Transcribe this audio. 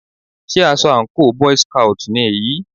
Sé aṣọ àńkò boy's scout ni èyí?